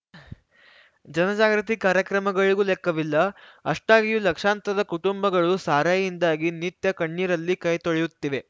ಜನ ಜಾಗೃತಿ ಕಾರ್ಯಕ್ರಮಗಳಿಗೂ ಲೆಕ್ಕವಿಲ್ಲ ಅಷ್ಟಾಗಿಯೂ ಲಕ್ಷಾಂತರ ಕುಟುಂಬಗಳು ಸಾರಾಯಿಯಿಂದಾಗಿ ನಿತ್ಯ ಕಣ್ಣೀರಲ್ಲಿ ಕೈತೊಳೆಯುತ್ತಿವೆ